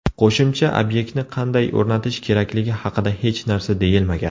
Qo‘shimcha obyektni qanday o‘rnatish kerakligi haqida hech narsa deyilmagan.